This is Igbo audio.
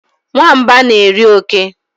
Nwamba na eri oke